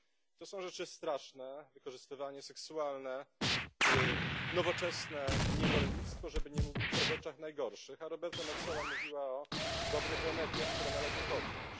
To są rzeczy straszne wykorzystywanie seksualne, nowoczesne niewolnictwo, żeby nie mówić o rzeczach najgorszych, a Roberta Metsola mówiła o dobrych remediach, które należy podjąć.